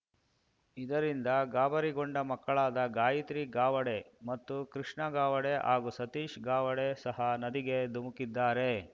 ಇದರಿಂದ ಗಾಬರಿಗೊಂಡ ಮಕ್ಕಳಾದ ಗಾಯತ್ರಿ ಗಾವಡೆ ಹಾಗೂ ಕೃಷ್ಣ ಗಾವಡೆ ಹಾಗೂ ಸತೀಶ್‌ ಗಾವಡೆ ಸಹ ನದಿಗೆ ಧುಮುಕಿದ್ದಾರೆ